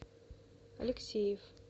алексеев